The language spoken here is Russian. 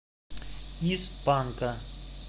из панка